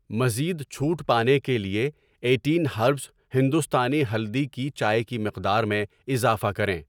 مزید چھوٹ پانے کے لیے ایٹین ہربز ہندوستانی ہلدی کی چائے کی مقدار میں اضافہ کریں